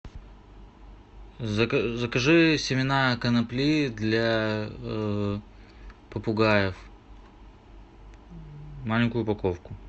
закажи семена конопли для попугаев маленькую упаковку